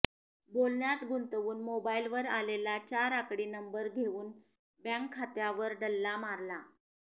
बोलण्यात गुंतवून मोबाईलवर आलेला चार आकडी नंबर घेऊन बँक खात्यावर डल्ला मारला